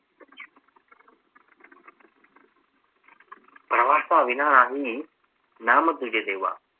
प्रवासाविना नाही नाम तुझे देवा